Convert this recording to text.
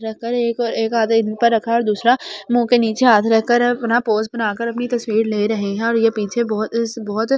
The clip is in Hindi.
रकर एक एक आदे इसमे रखा और दूसरा मोह के नीचे आधे रख कर अपना पोज़ बनाकर अपनी तस्वीर ले रहे है और ये पीछे बहुत बहुत --